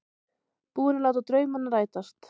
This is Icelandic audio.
Búinn að láta draumana rætast.